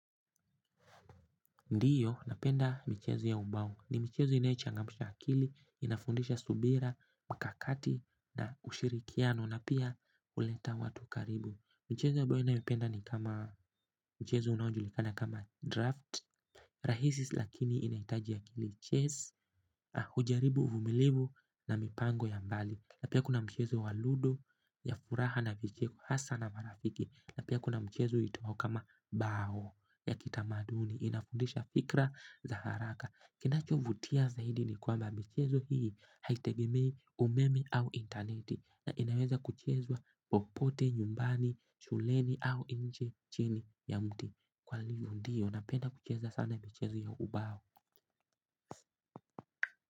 Ndiyo, napenda michezo ya ubongo. Ni michezo inayoichangamsha akili, inafundisha subira, mikakati na ushirikiano na pia huleta watu karibu. Mchezo ambayo ninayoipenda ni kama mchezo unaojulikana kama draft, rahisi lakini inahitaji akili chess, hujaribu, uvumilivu na mipango ya mbali. Napia kuna mchezo wabludo, ya furaha na vicheko, hasa na marafiki. Na pia kuna mchezo iitwayo kama bao ya kitamaduni inafundisha fikra za haraka kinachovutia zaidi ni kwamba michezo hii haitegemei umeme au intaneti na inaweza kuchezwa popote, nyumbani, shuleni au nje chini ya mti kwa hivyo ndio napenda kucheza sana michezo ya ubao.